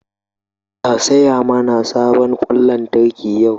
Ka saya mana sabon ƙwan lantarki yau!